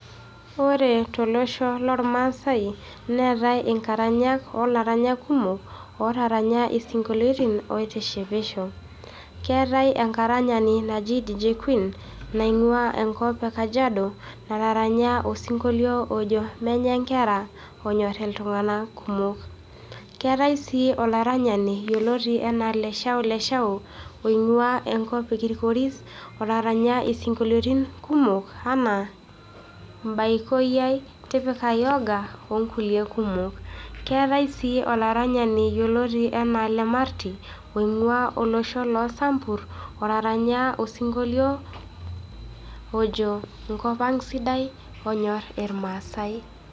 Ore tolosho lormasai, neetae inkaranyak olaranyak kumok, otaranya isinkolieitin oitishipisho. Keetae enkaranyani naji Dj Queen, naing'ua enkop e Kajiado, otaranya osinkilio ojo Menye Nkera, onyor iltung'anak kumok. Keetae si olaranyani yioloti enaa LeshaoLeshao, oing'ua enkop ekirkoris, otaranya isinkolioitin kumok, enaa Mbaikoi ai, Tipika Yoga, onkulie kumok. Keetae si olaranyani yioloti enaa Lemarti, oing'ua olosho lo Sambur, otaranya osinkolio, ojo Enkop ang' sidai, onyor irmaasai.